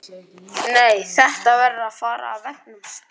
Nei, þetta verður að fara af veggnum strax!